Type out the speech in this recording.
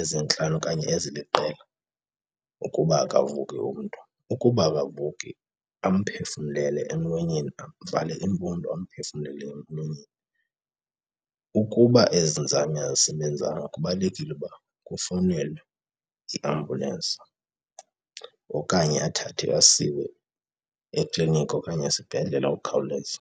ezintlanu okanye eziliqela ukuba akavuki umntu. Ukuba akavuki, amphefumlele emlonyeni, amvale iimpumlo amphefumlele emlonyeni. Ukuba ezi nzame azisebenzanga kubalulekile ukuba kufowunelwe iambulensi okanye athathwe asiwe ekliniki okanye esibhedlela ngokukhawuleza.